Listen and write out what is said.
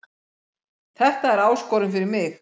Þetta er áskorun fyrir mig